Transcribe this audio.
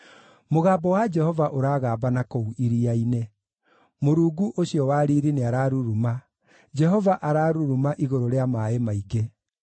Mũgambo wa Jehova ũragamba na kũu iria-inĩ; Mũrungu ũcio wa riiri nĩararuruma, Jehova araruruma igũrũ rĩa maaĩ maingĩ.